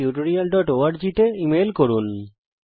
আরো বিস্তারিত জানার জন্য contactspoken tutorialorg তে লিখুন